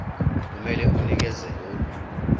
kumele unikeze lolu